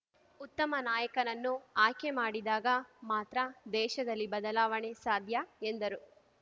ಉತ್ತಮ ನಾಯಕನನ್ನು ಆಯ್ಕೆ ಮಾಡಿದಾಗ ಮಾತ್ರ ದೇಶದಲ್ಲಿ ಬದಲಾವಣೆ ಸಾಧ್ಯ ಎಂದರು